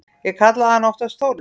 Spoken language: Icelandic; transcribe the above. Ég kallaði hana oftast Þórhildi.